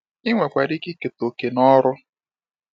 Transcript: Ị nwekwara ike ikete òkè n'ọrụ a.